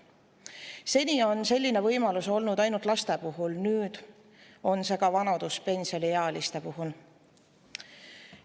Seni on selline võimalus olnud ainult laste puhul, nüüd on see ka vanaduspensioniealiste puhul.